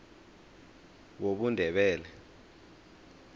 wobundebele